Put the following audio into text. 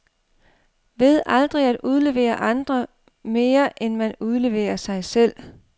Ved aldrig at udlevere andre, mere end man udleverer sig selv.